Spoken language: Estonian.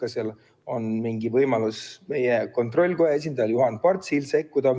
Kas seal on mingi võimalus meie kontrollikoja esindajal Juhan Partsil sekkuda?